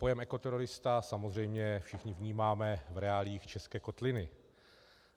Pojem ekoterorista samozřejmě všichni vnímáme v reáliích české kotliny.